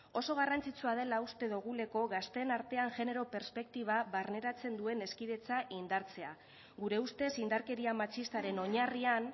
oso garrantzitsua dela uste dugulako gazteen artean genero perspektiba barneratzen duen hezkidetza indartzea gure ustez indarkeria matxistaren oinarrian